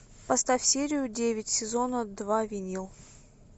поставь серию девять сезона два винил